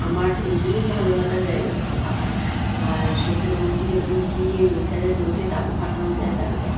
আমার এমনিই ভালো লাগার জায়গা হচ্ছে পাহাড়। আর সেখানে যদি এরম গিয়ে নেচার -এর মধ্যে তাবু খাটানো যায় তালে ব্যাস।